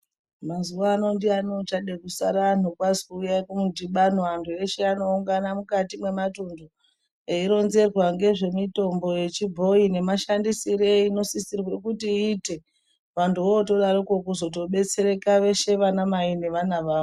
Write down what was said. Mazuvano ndiani uchada kusara kwazwi uyai kumudhibano. Antu eshe anoungana mukati mwematuntu eironzerwa ngezvemitombo yechibhoi nemashandisire einosisirwe kuti iite. Vantu votodaroko kutozodetsereka veshe vanamai nevana vavo.